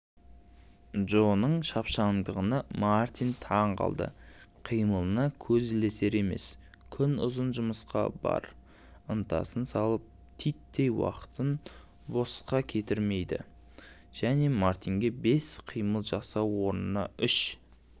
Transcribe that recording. джоның шапшаңдығына мартин таң қалды қимылына көз ілесер емес күн ұзын жұмысқа бар ынтасын салып титтей уақытын босқа жібермейді және мартинге бес қимыл жасау орнына үш